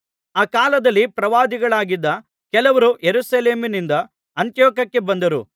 ಅ ಕಾಲದಲ್ಲಿ ಪ್ರವಾದಿಗಳಾಗಿದ್ದ ಕೆಲವರು ಯೆರೂಸಲೇಮಿನಿಂದ ಅಂತಿಯೋಕ್ಯಕ್ಕೆ ಬಂದರು